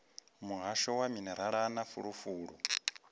muhasho wa minerala na fulufulu